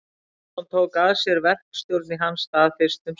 Jónsson tók að sér verkstjórn í hans stað fyrst um sinn.